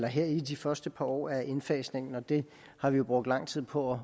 her i de første par år af indfasningen og det har vi jo brugt lang tid på